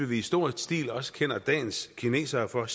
vi i stor stil også kender dagens kinesere for